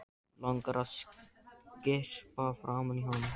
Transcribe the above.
Langar að skyrpa framan í hann.